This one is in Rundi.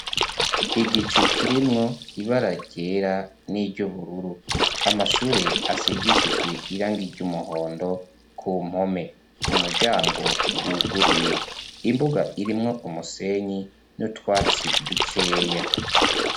Igicu kirimwo ibara ryera n'iry'ubururu. Amashure asigishijwe irangi ry'umuhondo ku mpome. Umuryango wuguruye imbuga irimwo umusenyi n'utwatsi dukeya.